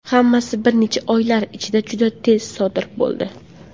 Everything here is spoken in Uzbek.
Hammasi bir necha oylar ichida juda tez sodir bo‘ldi.